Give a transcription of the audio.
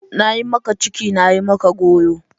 Na yi maka ciki, na yi maka goyo!